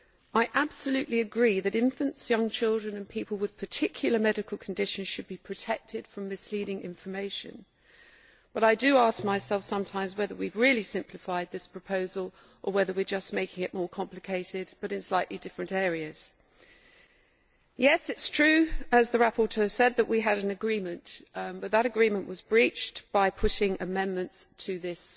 I absolutely agree that infants, young children and people with particular medical conditions should be protected from misleading information, but I do ask myself sometimes whether we have really simplified this proposal, or whether we are just making it more complicated, but in slightly different areas. Yes, it is true, as the rapporteur said, that we had an agreement, but that agreement was breached by putting amendments to this